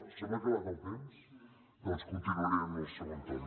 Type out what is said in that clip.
se m’ha acabat el temps doncs continuaré en el segon torn